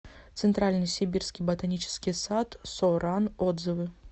центральный сибирский ботанический сад со ран отзывы